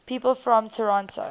people from toronto